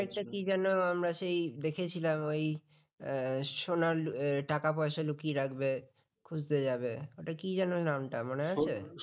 আরেকটা কি যেন আমরা সেই দেখেছিলাম ওই সোনা আহ টাকা পয়সা লুকিয়ে রাখবে খুঁজতে যাবে ওটা কি যেন নামটা মনে আছে?